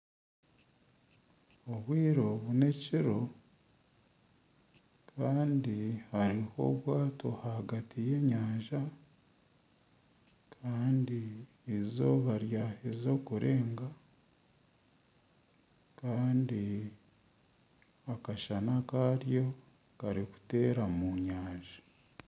Obwire obu n'ekiro kandi hariho obwato ahagati y'enyanja kandi eizooba ryaheeze kurenga kandi akashana karyo karikuteera mu nyanja.